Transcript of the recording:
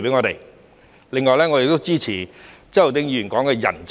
另外，我們亦支持周浩鼎議員提到的吸引人才。